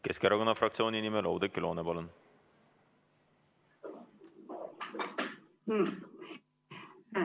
Keskerakonna fraktsiooni nimel Oudekki Loone, palun!